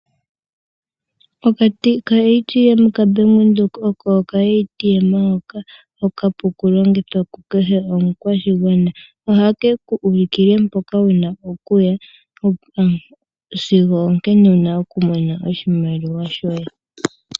Okashina ka Bank Windhoek ano oka ATM ,oko akashina okapu oku longithwa oku keshe omukwashigwana , ohakeku ulikile mpoka wuna okuhasigwo onkene wuna oku Mona oshimaliwa shoye.